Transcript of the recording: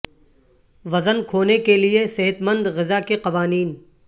وزن کھونے کے لئے صحت مند غذا کے قوانین